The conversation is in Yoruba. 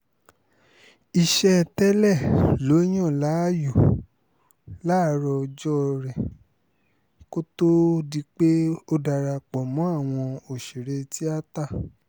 iṣẹ́ tẹ́lẹ̀ ló yàn láàyò láàárọ̀ ọjọ́ rẹ kó tóó di pé ó darapọ̀ mọ́ àwọn òṣèré tíátà